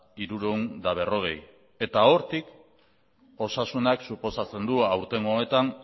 hirurehun eta berrogei eta hortik osasunak suposatzen du aurtengo honetan